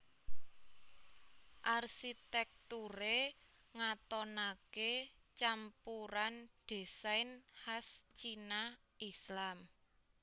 Arsitekture ngatonake campuran désain kas Cina Islam